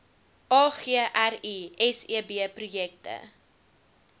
agri seb projekte